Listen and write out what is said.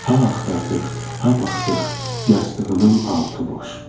Ha axtardıq, ha baxdıq, yastığının altı boş.